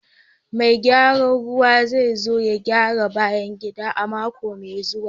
Mai gyaran ruwa zai zo ya gyara bayan gida a mako mai zuwa